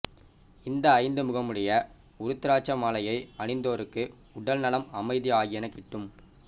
இந்த ஐந்து முகமுடைய உருத்திராட்ச மாலை அணிந்தோருக்கு உடல் நலம் அமைதி ஆகியன கிட்டும்